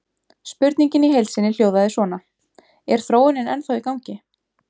Spurningin í heild sinni hljóðaði svona: Er þróunin ennþá í gangi?